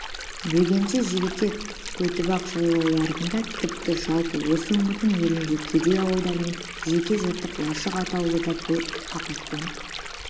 бөкенші жігітек көтібақ жайлауларында тіпті жалпы осы өңірдің елінде кедей ауылдар мен жеке жыртық лашық атаулыда бұл апаттан